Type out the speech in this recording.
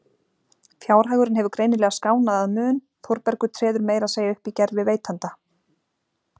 Fjárhagurinn hefur greinilega skánað að mun, Þórbergur treður meira að segja upp í gervi veitanda.